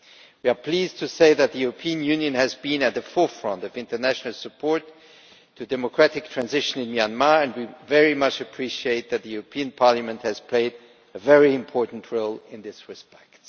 We are pleased to say that the European Union has been at the forefront of international support for democratic transition in Myanmar, and we very much appreciate that the European Parliament has played a very important role in this respect.